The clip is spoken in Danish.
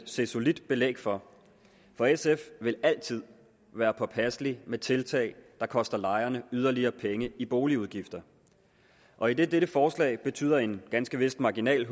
se solidt belæg for for sf vil altid være påpasselig med tiltag der koster lejerne yderligere penge i boligudgifter og idet dette forslag betyder en ganske vist marginal